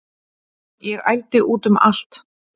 Ég ældi út um allt